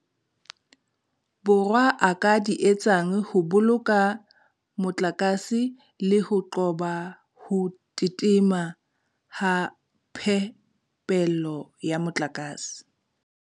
Borwa a ka di etsang ho boloka motlakase le ho qoba ho tititima ha phepelo ya motlakase.